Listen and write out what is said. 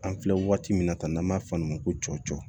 An filɛ waati min na tan n'an b'a fɔ olu ma ko cɔcɔ